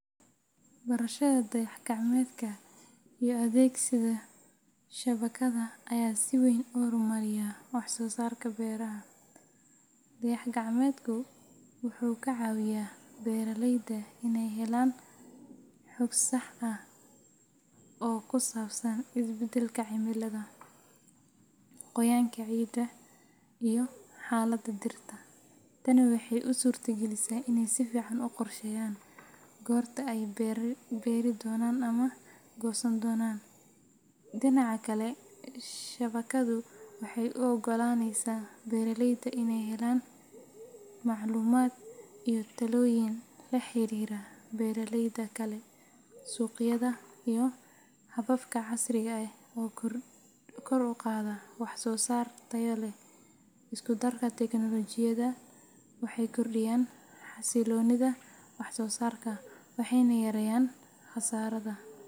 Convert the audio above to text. Barashada dayax-gacmeedka iyo adeegsiga shabakadda ayaa si weyn u horumariya wax-soo-saarka beeraha. Dayax-gacmeedku wuxuu ka caawiyaa beeraleyda inay helaan xog sax ah oo ku saabsan isbeddelka cimilada, qoyaanka ciidda, iyo xaaladda dhirta. Tani waxay u suurtagelisaa inay si fiican u qorsheeyaan goorta ay beeri doonaan ama goosan doonaan. Dhinaca kale, shabakaddu waxay u oggolaaneysaa beeraleyda inay helaan macluumaad iyo talooyin la xiriira beeraleyda kale, suuqyada, iyo hababka casriga ah ee kor u qaada wax-soo-saar tayo leh. Isku darka tiknoolajiyadan waxay kordhiyaan xasiloonida wax-soo-saarka, waxayna yareeyaan khasaaraha.